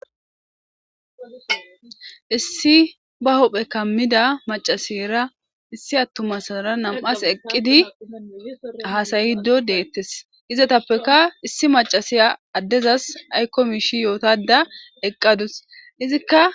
issi ba hophe kammida macasiyra issi attumasara nam7as eqqidi haasayido deettes izatappeka issi macasiya addezas aykko miishi yootada eqqadus izikka